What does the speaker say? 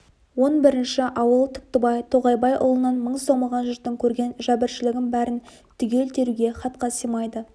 он бірінші ауыл түктібай тоғайбайұлынан мың сом алған жұрттың көрген жәбіршілігін бәрін түгел теруге хатқа сыймайды